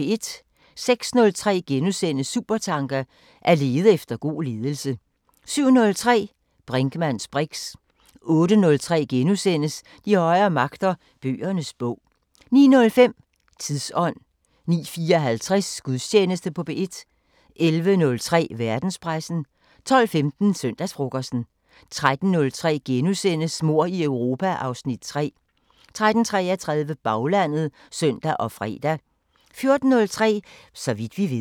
06:03: Supertanker: At lede efter god ledelse * 07:03: Brinkmanns briks 08:03: De højere magter: Bøgernes bog * 09:05: Tidsånd 09:54: Gudstjeneste på P1 11:03: Verdenspressen 12:15: Søndagsfrokosten 13:03: Mord i Europa (Afs. 3)* 13:33: Baglandet (søn og fre) 14:03: Så vidt vi ved